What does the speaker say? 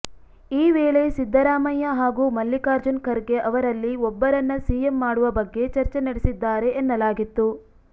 ಈ ವೇಳೆ ಸಿದ್ದರಾಮಯ್ಯ ಹಾಗೂ ಮಲ್ಲಿಕಾರ್ಜುನ್ ಖರ್ಗೆ ಅವರಲ್ಲಿ ಒಬ್ಬರನ್ನ ಸಿಎಂ ಮಾಡುವ ಬಗ್ಗೆ ಚರ್ಚೆ ನಡೆಸಿದ್ದಾರೆ ಎನ್ನಲಾಗಿತ್ತು